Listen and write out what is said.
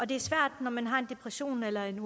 det er svært når man har en depression eller en